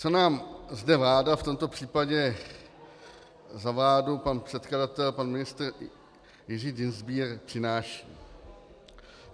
Co nám zde vláda, v tomto případě za vládu pan předkladatel, pan ministr Jiří Dienstbier, přináší?